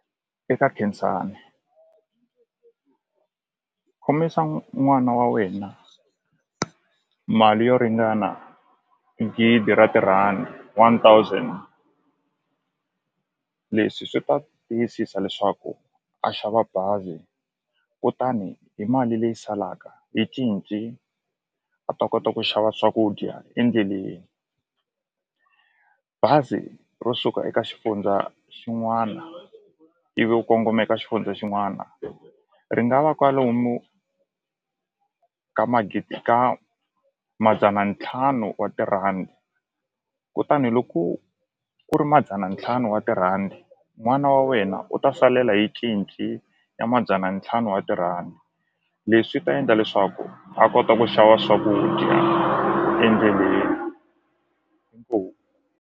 Eka Khensani khomisa n'wana wa wena mali yo ringana gidi ra tirhandi one thousand leswi swi ta tiyisisa leswaku a xava bazi kutani hi mali leyi salaka hi cinci a ta kota ku xava swakudya endleleni bazi ro suka eka xifundza xin'wana ivi u kongoma eka xifundza xin'wana ri nga va kwalomu ka magidi ka madzana ntlhanu wa tirhandi kutani loko ku ri madzana ntlhanu wa tirhandi n'wana wa wena u ta salela hi cinci ya madzana ntlhanu wa tirhandi leswi ta endla leswaku a kota ku xava swakudya endleleni inkomu.